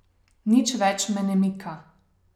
Nič več me ne mika.